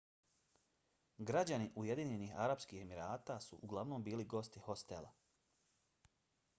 građani ujedinjenih arapskih emirata su uglavnom bili gosti hostela